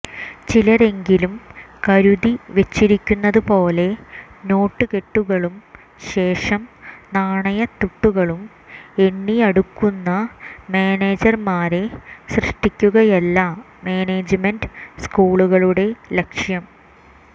ചിലരെങ്കിലും കരുതിെവച്ചിരിക്കുന്നതുപോലെ നോട്ടുകെട്ടുകളും ശേഷം നാണയത്തുട്ടുകളും എണ്ണിെയടുക്കുന്ന മാനേജർമാരെ സൃഷ്ടിക്കുകയല്ല മാനേജ്മെന്റ് സ്കൂളുകളുടെ ലക്ഷ്യം